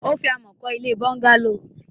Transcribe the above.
Ó fi amọ̀ kọ́ ilé bọ́ńgálò.